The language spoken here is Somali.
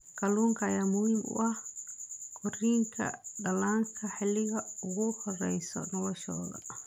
Kalluunka ayaa muhiim u ah korriinka dhallaanka xilliga ugu horreeya noloshooda.